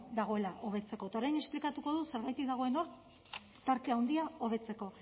dagoela hobetzeko eta orain esplikatuko dut zergatik dagoen hor tarte handia hobetzeko